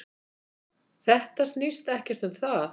Þetta snýst ekkert um það.